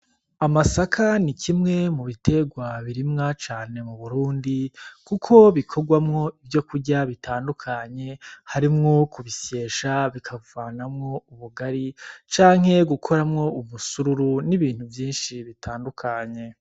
Amasaka ni kimwe mu bitegwa birimwa cane mu Burundi kuko bikogwamwa ivyo kurya bitandukanye harimwo ku bisyesha bikavanamwo ubugari canke gukoramwo ubusururu n' ibintu vyinshi bitandukanye.